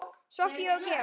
Soffía og Georg.